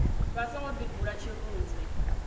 vha songo ḓi bvula tshirunzi